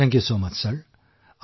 ধন্যবাদ ছাৰ